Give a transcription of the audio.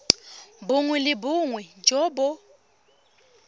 bongwe le bongwe jo bo